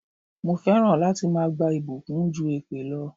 Mo fẹ́ràn láti máa gba ìbùkún ju èpè lọ.